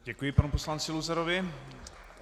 Děkuji panu poslanci Luzarovi.